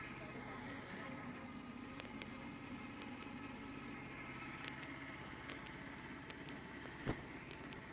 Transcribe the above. di na le nako e